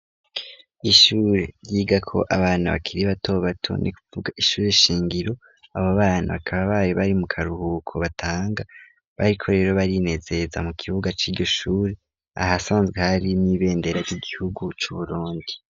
Ishuri ryigako abantu bakiri batobato ni kuvuga ishuri shingiro, abo bana bakaba bari bari mu karuhuko batanga, bariko rero barinezeza mu kibuga c'iryo shuri ahasanzwe hari n'ibendera ry'igihugu c'Uburundi.